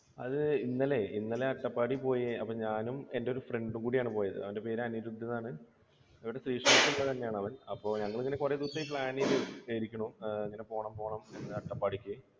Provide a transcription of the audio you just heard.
അത് ഇന്നലെ. ഇന്നലെ അട്ടപ്പാടിയിൽ പോയി. അപ്പൊ ഞാനും എന്റെ ഒരു friend ഉം കൂടിയാണ് പോയത്. അവന്റെ പേര് എന്നാണ്. ഒരു ആണവൻ. ഞങ്ങൾ ഇങ്ങനെ കുറെ ദിവസമായി plan ചെയ്തിരിക്കണു ഇങ്ങനെ പോണം പോണം ഇങ്ങനെ അട്ടപ്പാടിക്ക്